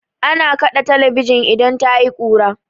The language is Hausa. Ana kaɗe talabijin idan tayi kura.